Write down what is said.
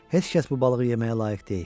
Heç kəs bu balığı yeməyə layiq deyil.